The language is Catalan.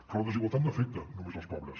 però la desigualtat no afecta només els pobres